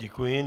Děkuji.